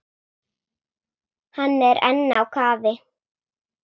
Hann er enn á kafi.